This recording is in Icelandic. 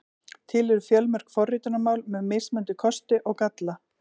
Til eru fjölmörg forritunarmál með mismunandi kosti og galla.